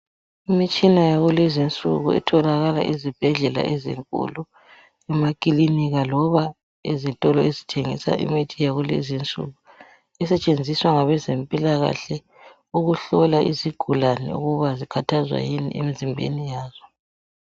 Imitshina yakulezi insuku etholakala ezibhedlela ezinkulu, emakilinika loba ezitolo ezithengisa imithi yakulezi insuku, esetshenziswa ngabezempilakhahle ukuhlola izigulane ukuba zikhathazwa yini emzimbeni yazo.